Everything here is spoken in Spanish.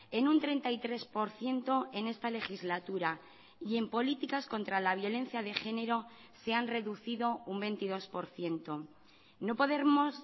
en un treinta y tres por ciento en esta legislatura y en políticas contra la violencia de género se han reducido un veintidós por ciento no podemos